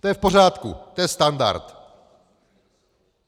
To je v pořádku, to je standard.